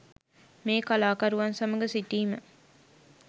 මේ කලාකරුවන් සමග සිටීම